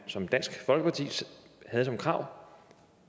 som dansk folkeparti havde som krav